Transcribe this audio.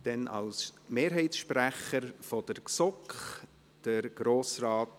Grossrat Hans-Peter Kohler hat als Mehrheitssprecher der GSoK das Wort.